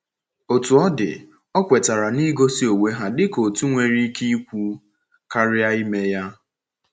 Otú ọ dị, ọ kwetara na igosi onwe ha dịka otu nwere ike ikwu karịa ime ya.